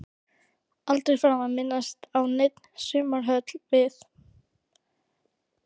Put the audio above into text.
Aldrei framar minnst á neina sumarhöll við